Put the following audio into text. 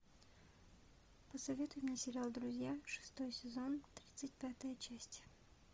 посоветуй мне сериал друзья шестой сезон тридцать пятая часть